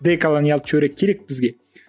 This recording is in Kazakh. деколониялды теория керек бізге